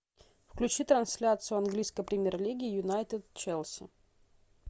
включи трансляцию английской премьер лиги юнайтед челси